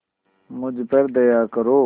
मुझ पर दया करो